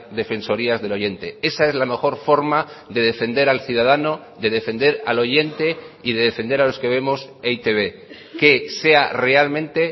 defensorías del oyente esa es la mejor forma de defender al ciudadano de defender al oyente y de defender a los que vemos e i te be que sea realmente